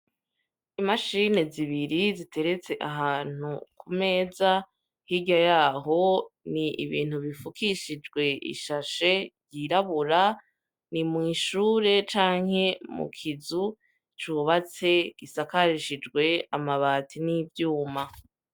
Imishini zibiri ziteretse ahantu ku meza, hirya yaho ni ibintu bifukishijwe ishashe yirabura, ni mwi'ishure canke mu kizu cubatse, gisakarishijwe amabati n'ivyuma.